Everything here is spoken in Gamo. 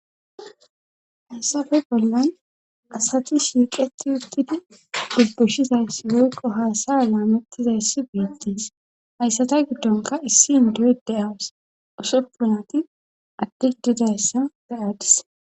hasape bollan asati shiiqeti uttidi dubbushizay woykko haasaya laamettizayssi biittis hayssata giddonka issi in duyde awas usoppunati adti didayssa beyaadis